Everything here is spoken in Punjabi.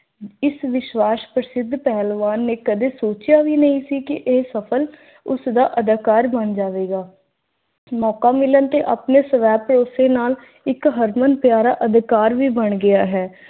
ਇਸ ਵਿਸ਼ਵਾਸ ਪ੍ਰਸਿੱਧ ਪਹਿਲਵਾਨ ਨੇ ਕਦੇ ਸੋਚਿਆ ਵੀ ਨਹੀਂ ਸੀ ਕੀ ਇਹ ਸਫਲ ਉਸਦਾ ਅਦਾਕਾਰ ਬਣ ਜਾਵੇਗਾ। ਮੌਕਾ ਮਿਲਣ ਤੇ ਆਪਣੇ ਸਵੈ ਭਰੋਸੇ ਨਾਲ ਇੱਕ ਹਰਮਨ ਪਿਆਰਾ ਅਦਕਾਰ ਵੀ ਬਣ ਗਿਆ ਹੈ।